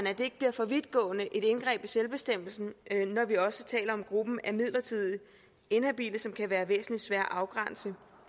at det ikke bliver for vidtgående et indgreb i selvbestemmelsen når vi også taler om gruppen af midlertidigt inhabile som kan være væsentlig sværere at afgrænse